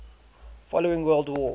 following world war